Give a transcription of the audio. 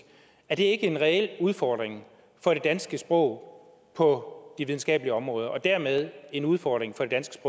er det ikke en reel udfordring for det danske sprog på de videnskabelige områder og dermed en udfordring for det danske